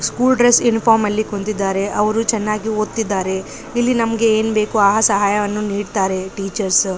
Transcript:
School dress ಯೂನಿಫಾರ್ಮಲ್ಲಿ ಕುಂತಿದ್ದಾರೆ ಅವರು ಚೆನ್ನಾಗಿ ಓದ್ತಿದ್ದಾರೆ ಇಲ್ಲಿ ನಮಗೆ ಏನು ಸಹಾಯ ಬೇಕೊ ಆ ಸಹಾಯವನ್ನು ನೀಡ್ತಾರೆ ಟೀಚರ್ಸ .